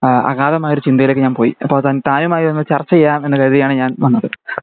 ആ അകാദമായൊരു ചിന്തയിലേക്ക് ഒക്കെ ഞാൻ പോയി അതപ്പോ താനുമായി ഒന്ന്‌ ചർച്ച ചെയ്യാം എന്ന് കരുതിയാണ് ഞാൻ വന്നത്